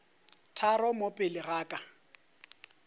tharo mo pele ga ka